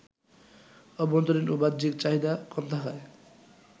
অভ্যন্তরীণ ও বাহ্যিক চাহিদা কম থাকায়